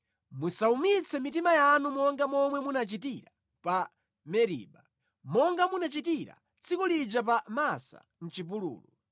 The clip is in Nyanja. musawumitse mitima yanu monga momwe munachitira pa Meriba, monga munachitira tsiku lija pa Masa mʼchipululu.